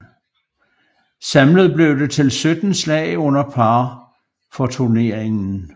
Samlet blev det til 17 slag under par for turneringen